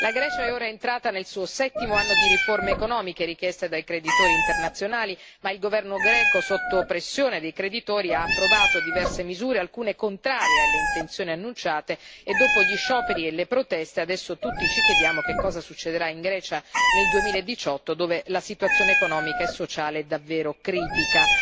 La Grecia è ora entrata nel suo settimo anno di riforme economiche richieste dai creditori internazionali ma il governo greco, sotto pressione dei creditori, ha approvato diverse misure, alcune contrarie alle intenzioni annunciate e, dopo gli scioperi e le proteste, adesso tutti ci chiediamo che cosa succederà in Grecia nel 2018, dove la situazione economica e sociale è davvero critica.